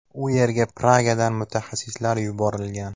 U yerga Pragadan mutaxassislar yuborilgan.